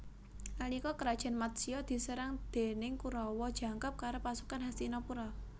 Nalika Krajan Matsya diserang déning Korawa jangkep karo pasukan Hastinapura